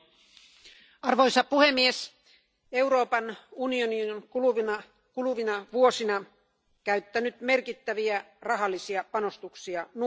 Arvoisa puhemies, Euroopan unioni on kuluvina vuosina käyttänyt merkittäviä rahallisia panostuksia nuorisoon.